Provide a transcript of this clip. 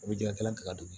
U bɛ ji hakɛ latigɛ ka d'u ma